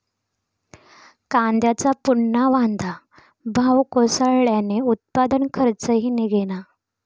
कांद्याचा पुन्हा वांदा, भाव कोसळल्यानं उत्पादन खर्चही निघेना